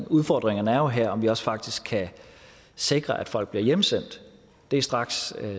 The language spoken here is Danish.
udfordringen er jo her om vi også faktisk kan sikre at folk bliver hjemsendt det er straks